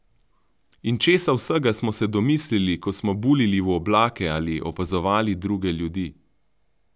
In česa vsega smo se domislili, ko smo buljili v oblake ali opazovali druge ljudi!